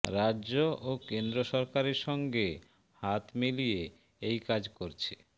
রাজ্য ও কেন্দ্র সরকারের সঙ্গে হাত মিলিয়ে এই কাজ করছে